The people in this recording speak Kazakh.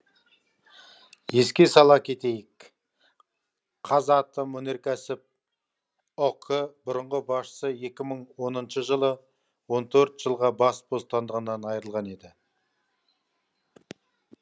еске сала кетейік қазатомөнеркәсіп ұк бұрынғы басшысы екі мың оныншы жылы он төрт жылға бас бостандығынан айырылған еді